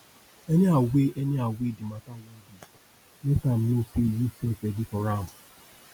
anyhow wey anyhow wey di mata wan be no sey yu sef ready for am